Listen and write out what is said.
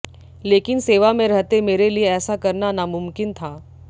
लेकिन सेवा में रहते मेरे लिए ऐसा करना नामुमकिन था